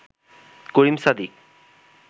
Karim Sadiq